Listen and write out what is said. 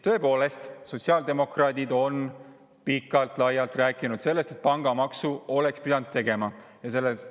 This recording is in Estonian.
Tõepoolest, sotsiaaldemokraadid on pikalt-laialt rääkinud sellest, et oleks pidanud pangamaksu tegema.